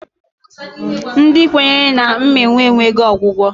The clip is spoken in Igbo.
Ndị kwenyere na mmịnwụ enweghi ọgwụgwọ.